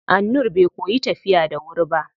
Annur bai koyi tafiya da wuri ba.